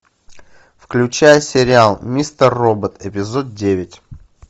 включай сериал мистер робот эпизод девять